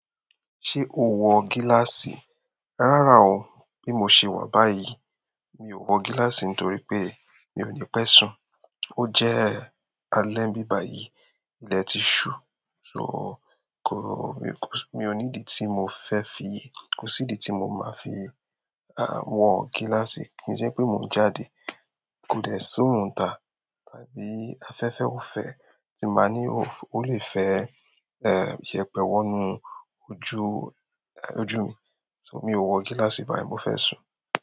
Ṣé o wọ gíláàsì? Rárá o, bí mo ṣe wà báyìí. Mi ò wọ gíláàsì nítorí pé mi ò ní pẹ́ sùn. Ó jẹ́ alẹ́ bíbàyí, ilẹ̀ ti ṣú. So kò-- mi kò, mi ò ní di tí mo fẹ́ fi, kò sí idi tí mo máa fi, à, wọ gíláàsì. Kì ń ṣe pé mò ń jáde. Ko de si orun n ta, tàbí afẹ́fẹ́ ò fẹ́ tí máa ní ó lè fẹ́, e, yẹpẹ wọ inú ojú, ojú mi. So mi ò wọ gíláàsì báyìí, mo fẹ́ sùn.